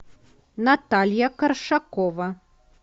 наталья коршакова